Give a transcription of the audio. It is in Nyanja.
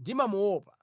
ndimamuopa.